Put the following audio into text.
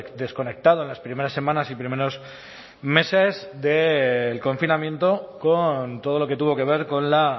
desconectado en las primeras semanas y primeros meses del confinamiento con todo lo que tuvo que ver con la